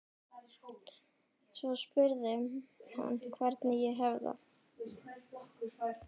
Svo spurði hann hvernig ég hefði það.